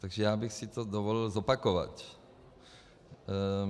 Takže já bych si to dovolil zopakovat.